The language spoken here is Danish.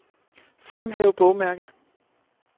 Fremhæv bogmærke.